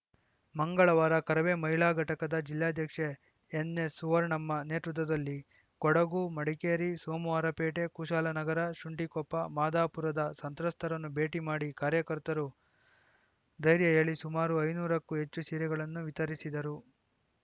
ಮಂಗಳವಾರ ಕರವೇ ಮಹಿಳಾ ಘಟಕದ ಜಿಲ್ಲಾಧ್ಯಕ್ಷೆ ಎನ್‌ಎಸ್‌ಸುವರ್ಣಮ್ಮ ನೇತೃತ್ವದಲ್ಲಿ ಕೊಡಗು ಮಡಿಕೇರಿ ಸೋಮವಾರ ಪೇಟೆ ಕುಶಾಲ ನಗರ ಶುಂಠಿಕೊಪ್ಪ ಮಾದಾಪುರದ ಸಂತ್ರಸ್ಥರನ್ನು ಭೇಟಿ ಮಾಡಿ ಕಾರ್ಯಕರ್ತರು ಧೈರ್ಯ ಹೇಳಿ ಸುಮಾರು ಐನೂರಕ್ಕೂ ಹೆಚ್ಚು ಸೀರೆಗಳನ್ನು ವಿತರಿಸಿದರು